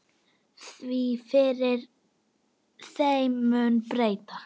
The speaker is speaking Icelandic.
Því fyrr, þeim mun betra.